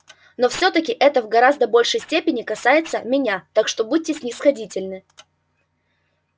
но всё-таки это в гораздо большей степени касается меня так что будьте снисходительны